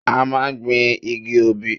A máa gbin igi obì.